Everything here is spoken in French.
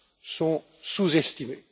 sont sous estimées.